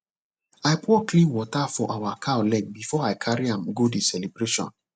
i pour clean water for our cow leg before i carry am go the celebration